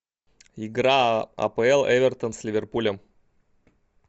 игра апл эвертон с ливерпулем